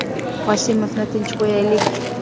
Qosimovni tinch qo‘yaylik.